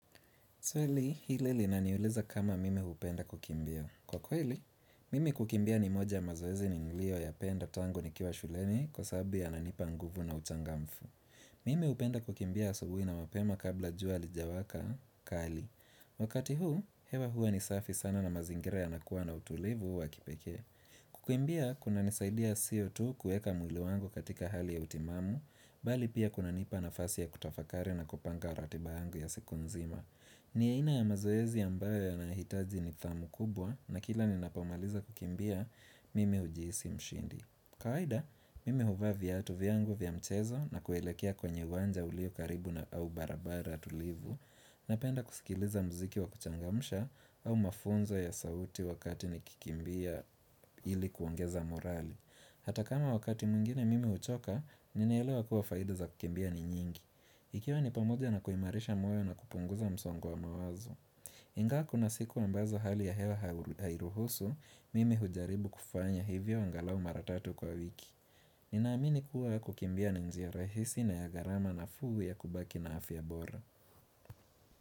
Swali, hile linaniuliza kama mimi hupenda kukimbia. Kwa kweli, mimi kukimbia ni moja mazoezi nilio ya penda tango ni kiwa shuleni kwa sababu yananipa nguvu na uchangamfu. Hhh Mime hupenda kukimbia asubuhi na mapema kabla jua alijawaka, kali. Wakati hu, hewa hua ni safi sana na mazingira yanakuwa na utulivu wa kipekee. Hhh kukimbia, kuna nisaidia CO2 kueka mwili wangu katika hali ya utimamu, bali pia kuna nipa na fasi ya kutafakari na kupanga ratiba yangu ya siku nzima. Hhh ni aina ya mazoezi ambayo yanahitaji nithamu kubwa na kila ninapamaliza kukimbia mimi hujiisi mshindi. Kawaida, mimi huva viatu vyangu vya mchezo na kuelekea kwenye uwanja ulio karibu na au barabara tulivu. Napenda kusikiliza mziki wa kuchangamusha au mafunzo ya sauti wakati nikikimbia ili kuongeza morali. Hhh Hata kama wakati mwingine mimi huchoka, ninaelewa kuwa faidahh za kukimbia ni nyingi. Hh ik Ikiwa ni pamoja na kuimarisha moyo na kupunguza msongu wa mawazo. Mchh Nga kuna siku ambazo hali ya hewa hairuhusu, mimi hujaribu kufanya hivyo angalau mara tatu kwa wiki. Ninaamini kuwa kukimbia ninjia rahisi na ya garama nafuu ya kubaki na afya bora.